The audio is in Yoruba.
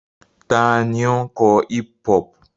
Ta ni ó ń kọ hip-hop?